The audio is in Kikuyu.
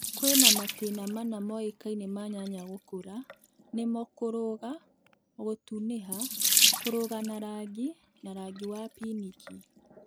Kwĩna matĩna mana moĩkaine ma nyanya gũkũra ,nĩmo kũrũga, gũtuniha, kũrũga na rangi na rangi wa pinki